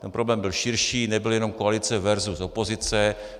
Ten problém byl širší, nebyl jenom koalice versus opozice.